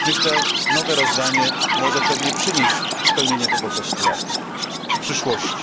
Myślę, że nowe rozdanie może pewnie przynieść spełnienie tego postulatu w przyszłości.